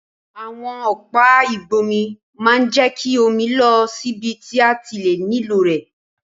Àwon ọ̀pá ìgbómi ma n je ki omi lọ síbi ti a ti nílò rẹ̀